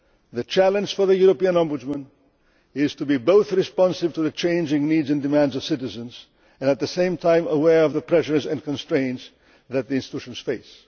known. The challenge for the European Ombudsman is to be both responsive to the changing needs and demands of citizens and, at the same time, be aware of the pressures and constraints that the institutions